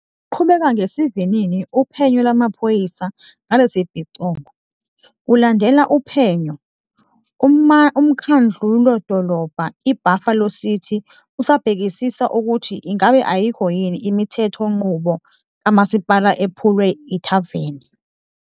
Luqhubeka ngesivinini uphenyo lwamaphoyisa ngalesi sibhicongo. Kulandela uphenyo, uMkhandludolobha i-Buffalo City usabhekisisa ukuthi ingabe ayikho yini imithethonqubo kamasipala ephulwe yithaveni.